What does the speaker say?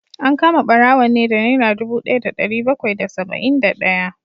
An kama barawon ne da naira dubu daya da dari bakwai da saba’in da daya